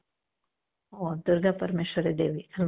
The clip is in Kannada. ಓ ದುರ್ಗಾ ಪರಮೇಶ್ವರಿ ದೇವಿ ಆಲ್ವಾ